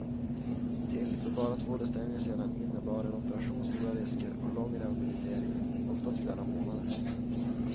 Till för bara två decennier sedan innerbar en operation stora risker och lång rehabilitering, oftast flera månader.